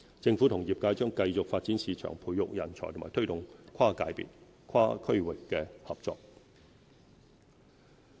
政府與業界將繼續發展市場、培育人才和推動跨界別跨地域合作。